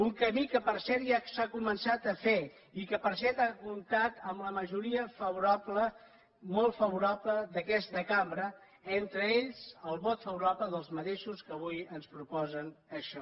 un camí que per cert ja s’ha començat a fer i que per cert ha comptat amb la majoria favorable molt favorable d’aquesta cambra entre ells el vot favorable dels mateixos que avui ens proposen això